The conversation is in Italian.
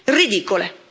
ridicole.